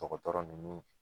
Dɔkɔtɔrɔ nunnu